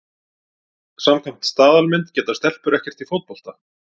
Samkvæmt staðalmynd geta stelpur ekkert í fótbolta.